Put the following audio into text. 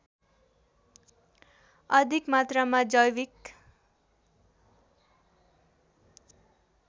अधिक मात्रामा जैविक